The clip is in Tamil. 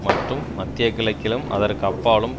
மற்றும் மத்திய கிழக்கிலும் அதற்கு அப்பாலும்